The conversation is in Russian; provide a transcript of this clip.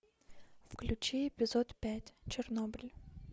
включи эпизод пять чернобыль